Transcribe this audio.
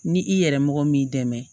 Ni i yɛrɛ mɔgɔ min m'i dɛmɛ